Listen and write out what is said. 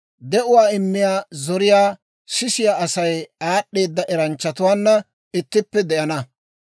De'uwaa immiyaa zoriyaa sisiyaa Asay aad'd'eeda eranchchatuwaana ittippe de'ana.